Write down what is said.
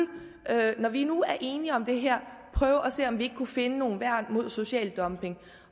når vi nu er enige om det her prøve at se om ikke vi kunne finde nogle værn mod social dumping